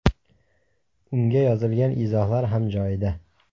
Unga yozilgan izohlar ham joyida.